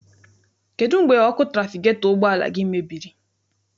Kedụ mgbe ọkụ trafigetọ ụgbọala gị mebiri?